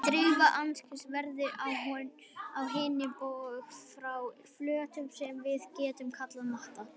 Dreift endurkast verður á hinn bóginn frá flötum sem við getum kallað matta.